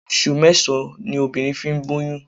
Oṣù mẹ́sàn-án ni obìnrin fi ń gbóyún.